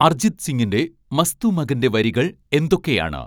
അർജിത് സിങിന്റെ മസ്തു മഗന്റെ വരികൾ എന്തൊക്കെയാണ്